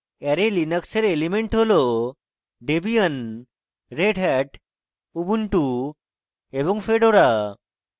array linux এর elements হল debian debian redhat Red Hat ubuntu ubuntu এবং fedora fedora